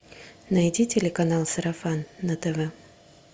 найди телеканал сарафан на тв